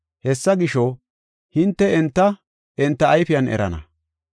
Hessa gisho, hinte enta, enta ayfiyan erana.